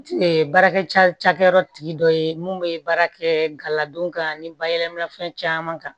baarakɛ ca cakɛyɔrɔ tigi dɔ ye mun bɛ baara kɛ galadon kan ni bayɛlɛmani fɛn caman kan